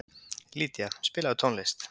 Lýdía, spilaðu tónlist.